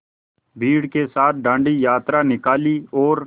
भीड़ के साथ डांडी यात्रा निकाली और